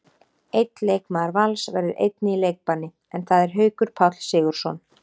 Einn leikmaður Vals verður einnig í leikbanni, en það er Haukur Páll Sigurðsson.